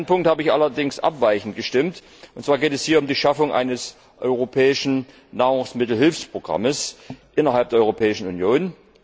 In einem Punkt habe ich allerdings abweichend gestimmt, und zwar geht es hier um die Schaffung eines europäischen Nahrungsmittelhilfsprogramms innerhalb der Europäischen Union.